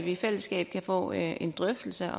i fællesskab kan få en drøftelse